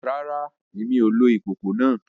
Rárá, Èmí o lò ìkòkò náà